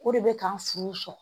O re bɛ k'an furu sɔn.